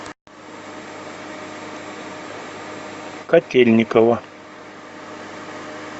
котельниково